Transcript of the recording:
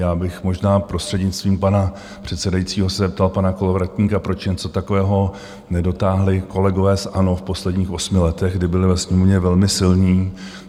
Já bych možná prostřednictvím pana předsedajícího se zeptal pana Kolovratníka, proč něco takového nedotáhli kolegové z ANO v posledních osmi letech, kdy byli ve Sněmovně velmi silní?